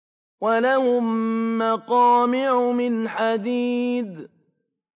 وَلَهُم مَّقَامِعُ مِنْ حَدِيدٍ